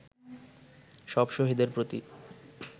সব শহীদের প্রতি